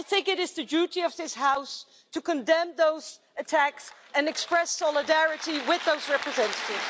I think it is the duty of this House to condemn those attacks and express solidarity with those representatives.